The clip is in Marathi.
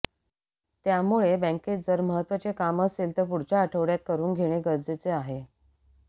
त्यामुळे बँकेत जर महत्त्वाचे काम असेल तर पुढच्या आठवड्यात करुन घेणे गरजेचे आहे